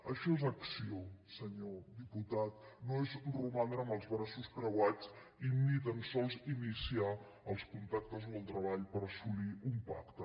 això és acció senyor diputat no és romandre amb els braços plegats i ni tan sols iniciar els contactes o el treball per assolir un pacte